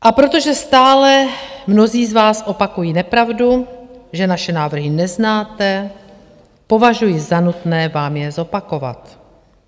A protože stále mnozí z vás opakují nepravdu, že naše návrhy neznáte, považuji za nutné vám je zopakovat.